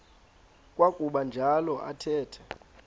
kwakuba njalo athetha